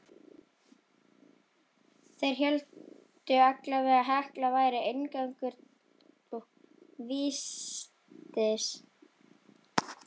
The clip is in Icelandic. Þeir héldu allavega að Hekla væri inngangur vítis.